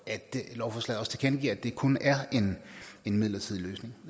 at det i lovforslaget også tilkendegives at det kun er en midlertidig løsning